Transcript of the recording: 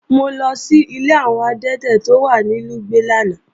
Mo lọ sílé àwọn adẹ́tẹ̀ tó wà ní Lùgbẹ̀ lánàá